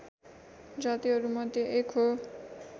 जातिहरू मध्ये एक हो